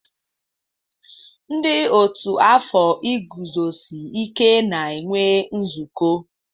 Ndị ọ́tù afọ iguzosi ike na-enwe nzukọ.